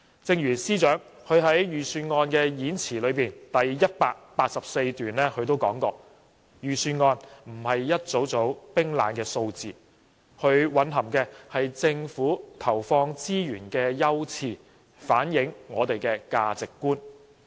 正如司長在預算案演辭第184段所說："預算案不只是一組組冰冷的數字，它蘊含的是政府投放資源的優次，反映我們的價值觀。